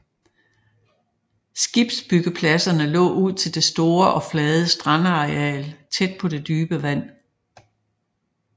Skibsbyggepladserne lå ud til det store og flade strandareal tæt på det dybe vand